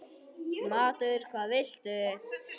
Matur: Hvað viltu?